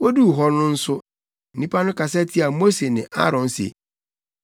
Woduu hɔ no nso, nnipa no kasa tiaa Mose ne Aaron se,